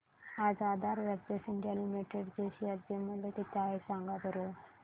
आज Aadhaar ventures India limited चे share चे मूल्य किती आहे सांगा बरं